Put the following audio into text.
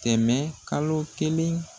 Kɛmɛ kalo kelen